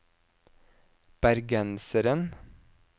bergenseren